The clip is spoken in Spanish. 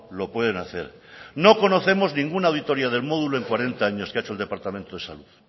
lo pueden hacer no conocemos ninguna auditoría del módulo en cuarenta años que ha hecho el departamento de salud